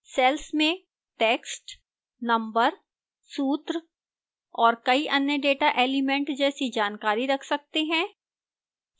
cells में text numbers सूत्र और कई अन्य data elements जैसी जानकारी रख सकते हैं